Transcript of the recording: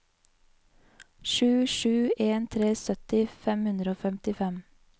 sju sju en tre sytti fem hundre og femtifem